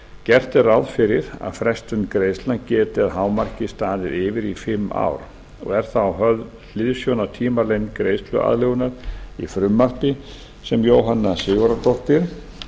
gert er ráð fyrir að frestun greiðslna geti að hámarki staðið yfir í fimm ár og er þá höfð hliðsjón af tímalengd greiðsluaðlögunar í frumvarpi sem jóhanna sigurðardóttir